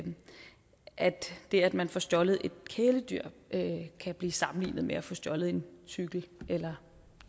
at det at man får stjålet et kæledyr kan blive sammenlignet med at få stjålet en cykel eller